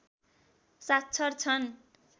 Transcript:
साक्षर छन्